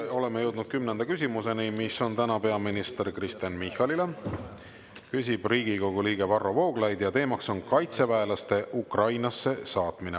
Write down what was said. Oleme jõudnud 10. küsimuseni, mis on täna peaminister Kristen Michalile, küsib Riigikogu liige Varro Vooglaid ja teemaks on kaitseväelaste Ukrainasse saatmine.